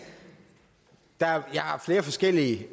har flere forskellige